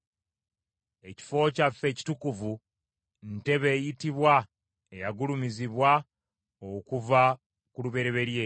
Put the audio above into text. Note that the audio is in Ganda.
Ekifo kyaffe ekitukuvu, ntebe ey’ekitiibwa eyagulumizibwa okuva ku lubereberye.